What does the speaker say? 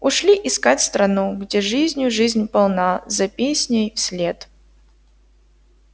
ушли искать страну где жизнью жизнь полна за песней вслед